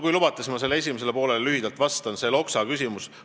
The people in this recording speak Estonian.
Kui lubate, siis ma lühidalt vastan esimesele poolele, sellele Loksa küsimusele.